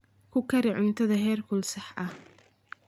Ku kari cuntadaada heerkul sax ah.